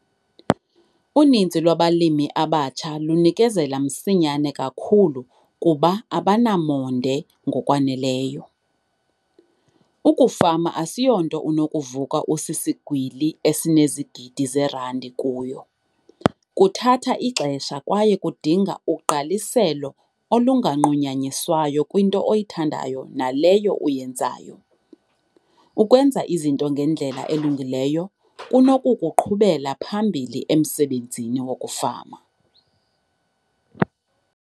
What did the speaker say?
Uninzi lwabalimi abatsha lunikezela msinyane kakhulu kuba abanamonde ngokwaneleyo. Ukufama asiyonto onokuvuka sowusisigwili esinezigidi zeerandi kuyo. Kuthatha ixesha kwaye kudinga ugqaliselo olunganqunyanyiswayo kwinto oyithandayo naleyo uyenzayo. Ukwenza izinto ngendlela elungileyo, kunokukuqhubela phambili emsebenzini wokufama.